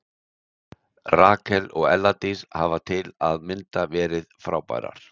Rakel og Ella Dís hafa til að mynda verið frábærar.